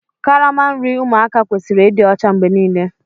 Karama nri ụmụaka kwesịrị ịdị ọcha mgbe niile